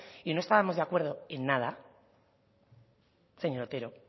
y no estábamos de acuerdo en nada señor otero